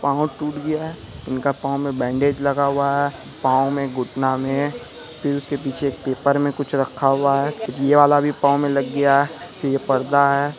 पाँव टूट गया है इनका पाँव में लगा हुआ है पाँव में घुटना में फिर उसके पीछे एक पेपर में कुछ रखा हुआ है | ये वाला भी पाँव में लग गया है ये पर्दा है।